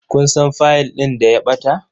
Kun san fiyil ɗin da ya ɓata?